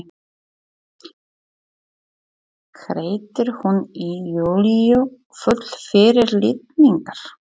hreytir hún í Júlíu full fyrirlitningar.